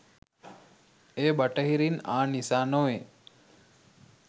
එය බටහිරින් ආ නිසා නොවේ